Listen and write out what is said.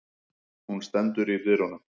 Hún stendur í dyrunum.